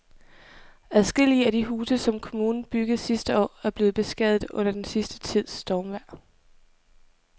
Adskillige af de huse, som kommunen byggede sidste år, er blevet beskadiget under den sidste tids stormvejr.